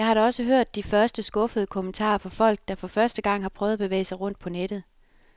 Jeg har da også hørt de første skuffede kommentarer fra folk, der for første gang har prøvet at bevæge sig rundt på nettet.